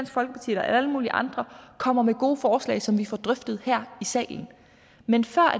folkeparti eller alle mulige andre kommer med gode forslag som vi får drøftet her i salen men før